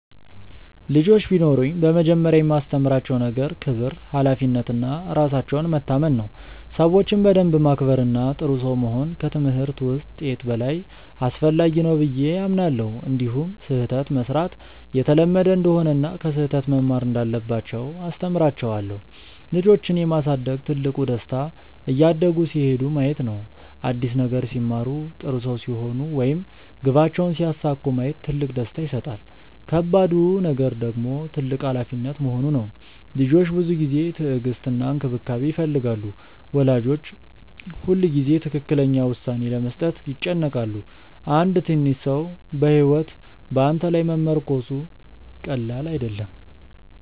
ልጆች ቢኖሩኝ በመጀመሪያ የማስተምራቸው ነገር ክብር፣ ሀላፊነት እና ራሳቸውን መታመን ነው። ሰዎችን በደንብ ማክበር እና ጥሩ ሰው መሆን ከትምህርት ውጤት በላይ አስፈላጊ ነው ብዬ አምናለሁ። እንዲሁም ስህተት መሥራት የተለመደ እንደሆነ እና ከስህተት መማር እንዳለባቸው አስተምራቸዋለሁ። ልጆችን የማሳደግ ትልቁ ደስታ እያደጉ ሲሄዱ ማየት ነው። አዲስ ነገር ሲማሩ፣ ጥሩ ሰው ሲሆኑ ወይም ግባቸውን ሲያሳኩ ማየት ትልቅ ደስታ ይሰጣል። ከባዱ ነገር ደግሞ ትልቅ ሀላፊነት መሆኑ ነው። ልጆች ብዙ ጊዜ፣ ትዕግስት እና እንክብካቤ ይፈልጋሉ። ወላጆች ሁልጊዜ ትክክለኛ ውሳኔ ለመስጠት ይጨነቃሉ። አንድ ትንሽ ሰው ሕይወት በአንተ ላይ መመርኮዙ ቀላል አይደለም።